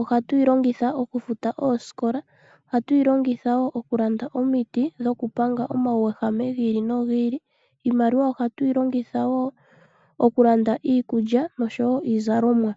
ohatu yi longitha okufuta oosikola, ohatu yi longitha okulanda omiti dhokupanga omauyehama gi ili nogi ili. Iimaliwa ohatu yi longitha wo okulanda iikulya nosho wo iizalomwa.